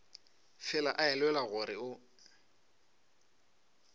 fela a elelwa gore o